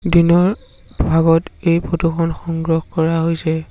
দিনৰ ভাগত এই ফটো খন সংগ্ৰহ কৰা হৈছে।